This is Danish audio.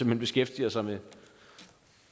hen beskæftigede sig med